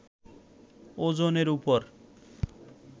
ওজনের উপর